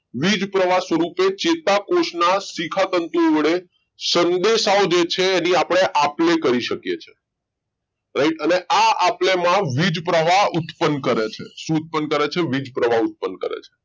વીજ પ્રવાહ સ્વરૂપે ચેતાકોષના શિખા તંતુઓ વડે સંદેશાવ જે છે એની આપણે આપ લે કરી શકીએ છે right અને આ આપલે માં વીજ પ્રવાહ ઉત્પન્ન કરે છે શોધ પણ કરે છે વીજપ્રવાહ ઉત્પન્ન કરે છે